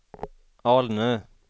Alnö